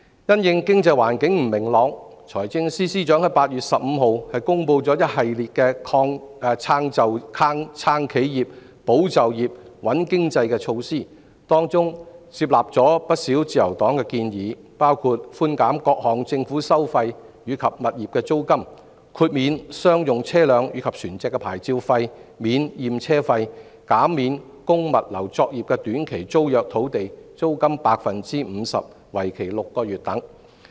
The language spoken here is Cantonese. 因應經濟環境不明朗，財政司司長於8月15日公布一系列"撐企業、保就業、穩經濟"的措施，當中接納了自由黨不少建議，包括寬減各項政府收費及物業租金、豁免商用車輛及船隻的牌照費、免驗車費、減免供物流作業的短期租約土地租金 50%， 為期6個月等。